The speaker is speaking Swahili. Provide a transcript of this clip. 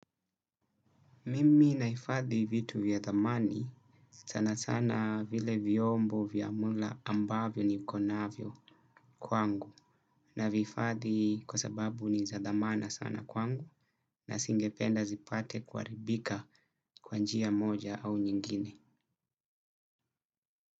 Mimi nahifadhi vitu vya thamani sana sana vile vyombo vya mula ambavyo ni konavyo kwangu na vihifadhi kwa sababu ni za dhamana sana kwangu na nisinge penda zipate kuharibika kwa njia ya moja au nyingine.